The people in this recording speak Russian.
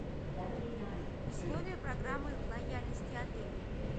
условия программы лояльности отеля